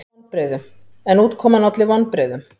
En útkoman olli vonbrigðum.